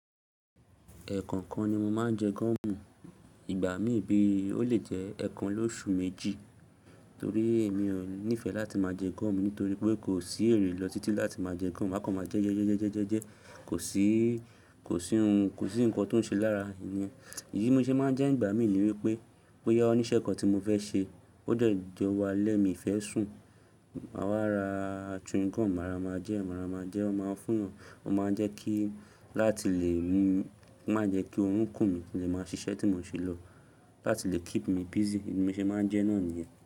Ẹ̀ẹ̀kan kan ni mo máa ń jẹ gúúmù. Ìgbà mì bí ó lè jẹ́ ẹ̀ẹ̀kan lóṣù méjì, torí èmi ò nífẹ̀ẹ́ láti máa jẹ gúúmù nítorí pé kò sí èrè lọ títí láti máa jẹ gúúmù. Màá kọ máa jẹ jẹ jẹ jẹ jẹ jẹ jẹ, kò sí, kò sí ohun, kò sí nǹkan tó ń ṣe lára. Iyí mo ṣe máa ń jẹ́ ìgbàmì ní wí pé, bo yá oníṣẹ́ kan ti mo fẹ́ ṣe, ó jẹ́ jọ̀wọ́ alẹ́ mí fẹ́ sùn. Màá wa ra chewing gum, màá rá màá jẹ́, màá rá màá jẹ́, wọ́n máa fún wọn, wọ́n máa jẹ́ kí láti lè mú, ko máa jẹ́ kí órùn kùn mi lè má ṣiṣẹ́ tí mo ṣe lọ. Láti lè keep me busy, mo ṣe máa ń jẹ́ náà nìyẹn.